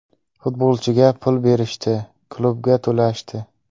Futbolchiga pul berishdi, klubga to‘lashdi.